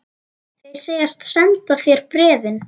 Þeir segjast senda þér bréfin.